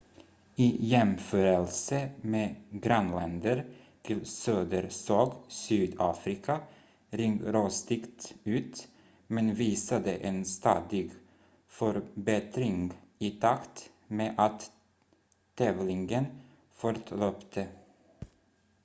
i jämförelse med grannländer till söder såg sydafrika ringrostigt ut men visade en stadig förbättring i takt med att tävlingen fortlöpte